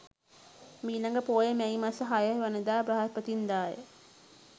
මීළඟ පෝය මැයි මස 06 වන දා බ්‍රහස්පතින්දා ය.